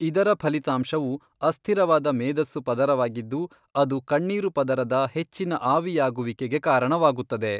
ಇದರ ಫಲಿತಾಂಶವು ಅಸ್ಥಿರವಾದ ಮೇದಸ್ಸು ಪದರವಾಗಿದ್ದು ಅದು ಕಣ್ಣೀರು ಪದರದ ಹೆಚ್ಚಿನ ಆವಿಯಾಗುವಿಕೆಗೆ ಕಾರಣವಾಗುತ್ತದೆ.